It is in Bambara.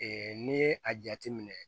n'i ye a jateminɛ